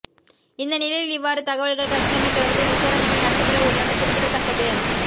இந்தநிலையில் இவ்வாறு தகவல்கள் கசிந்தமை தொடர்பில் விசாரணைகள் நடத்தப்பட உள்ளமை குறிப்பிடத்தக்கது